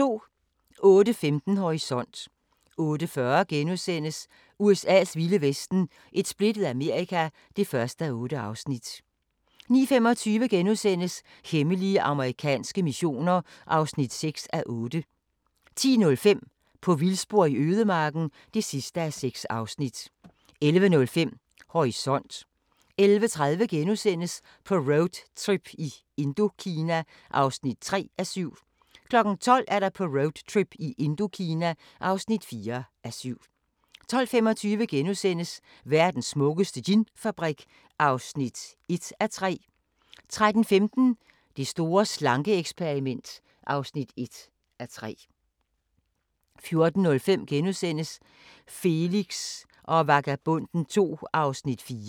08:15: Horisont 08:40: USA's vilde vesten: Et splittet Amerika (1:8)* 09:25: Hemmelige amerikanske missioner (6:8)* 10:05: På vildspor i ødemarken (6:6) 11:05: Horisont 11:30: På roadtrip i Indokina (3:7)* 12:00: På roadtrip i Indokina (4:7) 12:25: Verdens smukkeste ginfabrik (1:3)* 13:15: Det store slanke-eksperiment (1:3) 14:05: Felix og Vagabonden II (4:10)*